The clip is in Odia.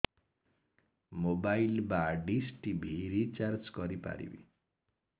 ମୋବାଇଲ୍ ବା ଡିସ୍ ଟିଭି ରିଚାର୍ଜ କରି ପାରିବି